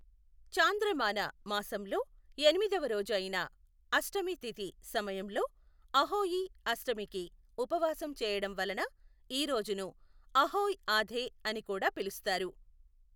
చాంద్రమాన మాసంలో ఎనిమిదవ రోజు అయిన అష్టమి తిథి సమయంలో అహోయి అష్టమికి ఉపవాసం చేయడం వలన ఈ రోజును అహోయ్ ఆథే అని కూడా పిలుస్తారు.